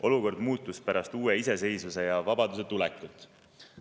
Olukord muutus pärast uue iseseisvuse ja vabaduse tulekut.